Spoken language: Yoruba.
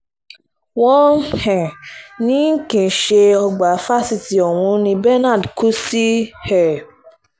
wọ́n um ní kì í ṣe nínú ọgbà fásitì ọ̀hún ni benard kú sí um